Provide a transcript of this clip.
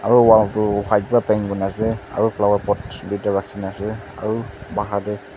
aro wall toh white para paint kurina ase aro flower pot tuita rakina ase aro pahar teh.